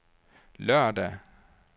lørdag